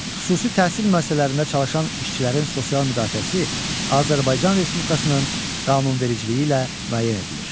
Xüsusi təhsil müəssisələrində çalışan işçilərin sosial müdafiəsi Azərbaycan Respublikasının qanunvericiliyi ilə müəyyən edilir.